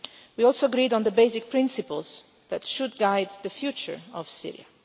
We agreed on the basic principles that should guide the future of